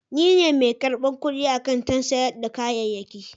Ni ne mai karbar kudi a kantin sayar da kayayyaki.